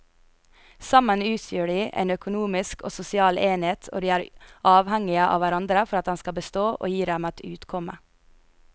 Sammen utgjør de en økonomisk og sosial enhet og de er avhengige av hverandre for at den skal bestå og gi dem et utkomme.